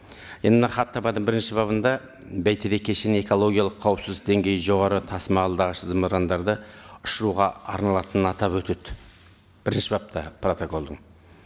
енді мына хаттаманың бірінші бабында бәйтерек кешені экологиялық қауіпсіздік деңгейі жоғары тасымалдағыш зымырандарды ұшыруға арналатынын атап өтеді бірінші бапта протоколдың